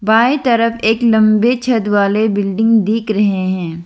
बाही तरफ एक लंबे छत वाले बिल्डिंग दिख रहे हैं।